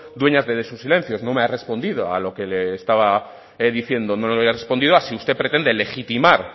dueña de sus silencios no me ha respondido a lo que le estaba diciendo no me ha respondido si usted pretende legitimar